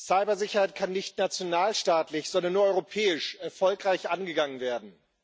Cybersicherheit kann nicht nationalstaatlich, sondern nur europäisch erfolgreich angegangen werden.